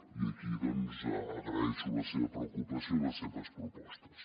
i aquí doncs agraeixo la seva preocupació i les seves propostes